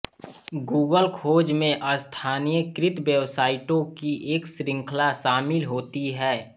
Google खोज में स्थानीयकृत वेबसाइटों की एक श्रृंखला शामिल होती है